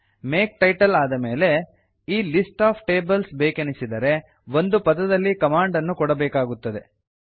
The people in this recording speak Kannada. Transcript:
ಮೇಕ್ ಟೈಟಲ್ ಆದ ಮೇಲೆ ಈ ಲಿಸ್ಟ್ ಒಎಫ್ ಟೇಬಲ್ಸ್ ಬೇಕೆನಿಸಿದರೆ ಒಂದು ಪದದಲ್ಲಿ ಕಮಾಂಡನ್ನು ಕೊಡಬೇಕಾಗುತ್ತದೆ